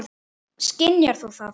Skynjar þú það?